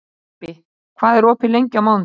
Leibbi, hvað er opið lengi á mánudaginn?